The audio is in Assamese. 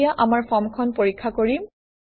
এতিয়া আমাৰ ফৰ্মখন পৰীক্ষা কৰিম